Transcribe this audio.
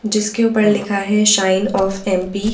जिसके ऊपर लिखा है शाइन ऑफ एम_ पी_ ।